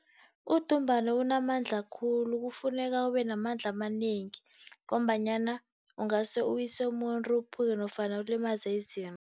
Udumbana unamandla khulu. Kufuneka ube namandla amanengi, ngombanyana ungase uwise umuntu, uphuke nofana ulimaze izinto.